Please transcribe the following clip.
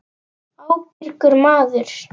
Ábyrgur maður.